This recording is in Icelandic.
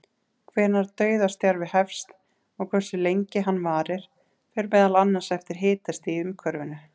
Hvenær dauðastjarfi hefst og hversu lengi hann varir fer meðal annars eftir hitastigi í umhverfinu.